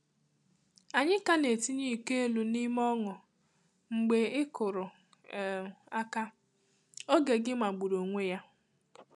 Ànyị ka na etinye iko elu n’ime ọṅụ, mgbe ịkụrụ um aka—oge gị magburu onwe ya.